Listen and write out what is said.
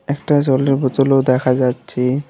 একটা জলের বোতল -ও দেখা যাচ্ছে।